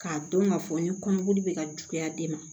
K'a dɔn k'a fɔ n ye kɔmɔkili bɛ ka juguya den ma